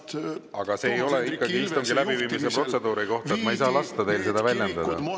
Aga see ikkagi ei ole istungi läbiviimise protseduuri kohta, ma ei saa lasta teil seda väljendada!